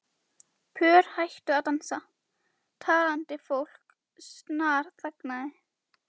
Pör hættu að dansa, talandi fólk snarþagnaði.